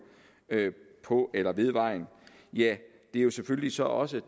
på eller ved vejen ja det er selvfølgelig så også